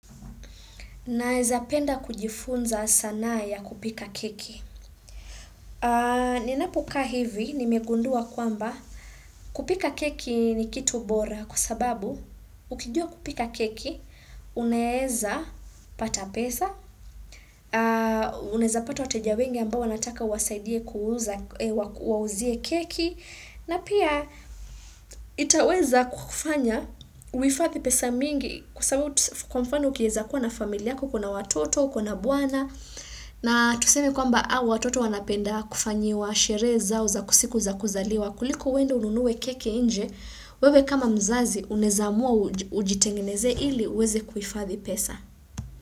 Na eza penda kujifunza sanaya kupika keki. Ni napoka hivi, nimegundua kwamba kupika keki ni kitu bora kusababu ukijua kupika keki, uneeza pata pesa, uneza pata wateja wengi ambao wanataka wasaidie kuuza, wauzie keki. Na pia itaweza kufanya uifathi pesa mingi kwa mfano kieza kuwa na familiyako kuna watoto, kuna buwana na tusemi kwa mba awa watoto wanapenda kufanyi wa shereza uza kusiku za kuzaliwa kuliku wende ununuwe keki inje wewe kama mzazi unezamua ujitengineze ili uweze kufathi pesa.